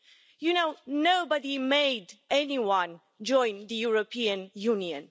You know, nobody made anyone join the European Union.